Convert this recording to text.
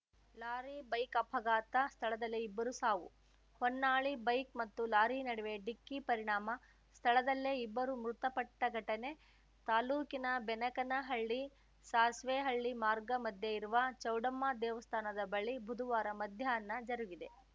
lorry bike ಅಪಘಾತ ಸ್ಥಳದಲ್ಲೇ ಇಬ್ಬರು ಸಾವು ಹೊನ್ನಾಳಿ ಬೈಕ್‌ ಮತ್ತು ಲಾರಿ ನಡುವೆ ಡಿಕ್ಕಿ ಪರಿಣಾಮ ಸ್ಥಳದಲ್ಲೇ ಇಬ್ಬರು ಮೃತಪಟ್ಟಘಟನೆ ತಾಲೂಕಿನ ಬೆನಕನಹಳ್ಳಿ ಸಾಸ್ವೇಹಳ್ಳಿ ಮಾರ್ಗ ಮಧ್ಯೆ ಇರುವ ಚೌಡಮ್ಮ ದೇವಸ್ಥಾನದ ಬಳಿ ಬುಧವಾರ ಮಧ್ಯಾಹ್ನ ಜರುಗಿದೆ